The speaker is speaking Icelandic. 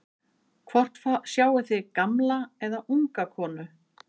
hvort sjáið þið gamla eða unga konu